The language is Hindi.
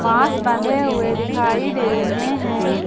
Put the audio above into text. बांस बंधे हुए दिखाई दे रहे हैं।